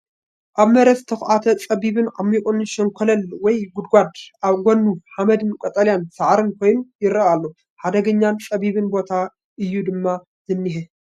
ኣብ መሬት ዝተዃዕተ ጸቢብን ዓሚቝን ሸንኮለል ወይ ጉድጓድ። ኣብ ጎድኑ ሓመድን ቀጠልያ ሳዕርን ኮይኑ ይረአ ኣሎ። ሓደገኛን ጸቢብን ቦታ እዩ ድማ ዝኔሄ፡፡!